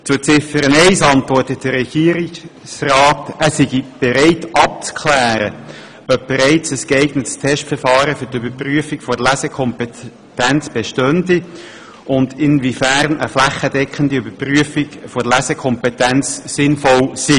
Zu Ziffer 1 antwortet der Regierungsrat, er sei bereit abzuklären, ob bereits ein geeignetes Testverfahren für die Überprüfung der Lesekompetenz bestehe und inwiefern eine flächendeckende Überprüfung der Lesekompetenz sinnvoll sei.